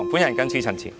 我謹此陳辭。